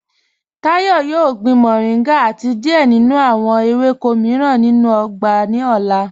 Táyọ̀ yóò gbìn mọ̀ríngà àti díẹ̀ nínú awọn èwékọ̀ míìràn nínú ọgbà ni ọlá.